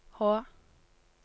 Hå